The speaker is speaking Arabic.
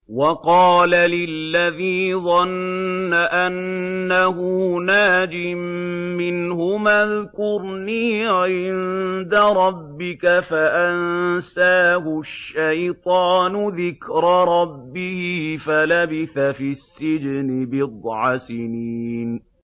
وَقَالَ لِلَّذِي ظَنَّ أَنَّهُ نَاجٍ مِّنْهُمَا اذْكُرْنِي عِندَ رَبِّكَ فَأَنسَاهُ الشَّيْطَانُ ذِكْرَ رَبِّهِ فَلَبِثَ فِي السِّجْنِ بِضْعَ سِنِينَ